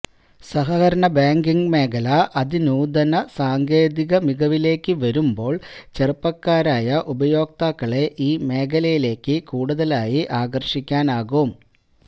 സഹകരണ ബാങ്കിങ് മേഖല അതിനൂതന സാങ്കേതികമികവിലേക്ക് വരുമ്പോള് ചെറുപ്പക്കാരായ ഉപയോക്താക്കളെ ഈ മേഖലയിലേക്ക് കൂടുതലായി ആകര്ഷിക്കാനാകും